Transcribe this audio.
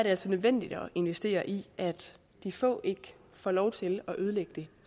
altså nødvendigt at investere i at de få ikke får lov til at ødelægge det